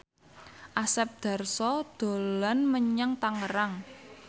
Asep Darso dolan menyang Tangerang